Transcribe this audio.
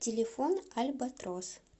телефон альбатрос